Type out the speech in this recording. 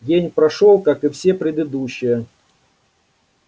день прошёл как и все предыдущие